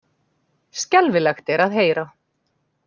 Skelfilegt er að heyra